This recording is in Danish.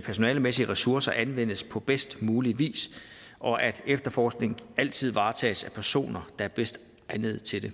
personalemæssige ressourcer anvendes på bedst mulig vis og at efterforskning altid varetages af personer der er bedst egnet til det